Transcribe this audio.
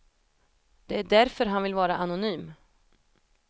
Det är därför han vill vara anonym.